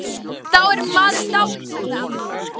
Já, þá er maður dáinn, sagði amma.